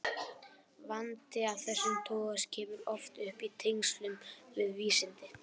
Vandi af þessum toga kemur oft upp í tengslum við vísindi.